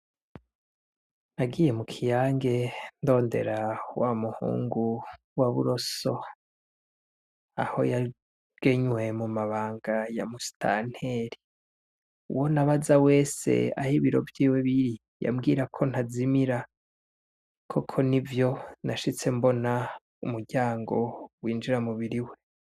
Nagiye mu kiyange ndondera wa muhungu wa buroso aho yagenywe mu mabanga ya musitanteli uwo nabaza wese aho ibiro vyiwe biri yabwira ko ntazimira koko ni vyo nashitse mbona umuryango winjira mubiri we.